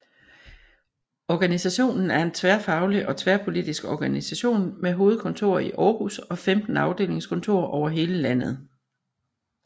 Organisationen er en tværfaglig og tværpolitisk organisation med hovedkontor i Aarhus og 15 afdelingskontorer over hele landet